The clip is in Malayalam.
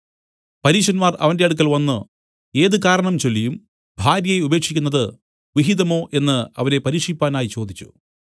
പരീശന്മാർ അവന്റെ അടുക്കൽ വന്നു ഏത് കാരണം ചൊല്ലിയും ഭാര്യയെ ഉപേക്ഷിക്കുന്നത് വിഹിതമോ എന്നു അവനെ പരീക്ഷിപ്പാനായി ചോദിച്ചു